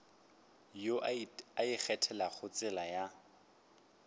yo a ikgethelago tsela ya